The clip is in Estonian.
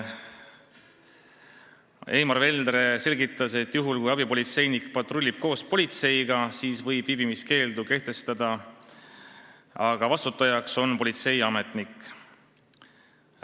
Eimar Veldre selgitas, et juhul kui abipolitseinik patrullib koos politseinikuga, siis võib viibimiskeelu kehtestada, aga vastutajaks on politseiametnik.